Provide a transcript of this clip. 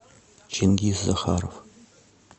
чингиз захаров